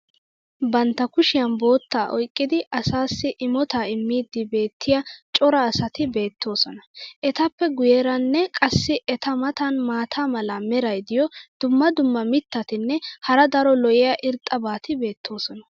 bantta kushiyan boottaa oyqqidi asaassi imotaa immiidi beetiya cora asati beetoosona. etappe guyeeranne qassi eta matan maata mala meray diyo dumma dumma mitatinne hara daro lo'iya irxxabati beetoosona.